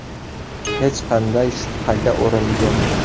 Hech qanday shubhaga o‘rin yo‘q.